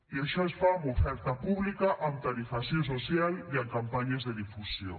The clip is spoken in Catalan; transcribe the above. i això es fa amb oferta pública amb tarifació social i amb campanyes de difusió